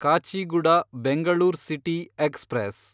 Kacheguda Bengaluru city express